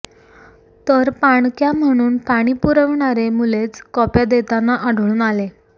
तर पाणक्या म्हणून पाणी पुरविणारे मुलेच कॉप्या देताना आढळून आले